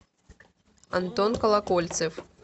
антон колокольцев